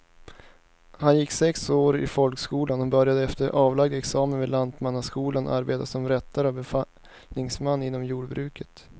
Han gick sex år i folkskolan och började efter avlagd examen vid lantmannaskolan arbeta som rättare och befallningsman inom jordbruket.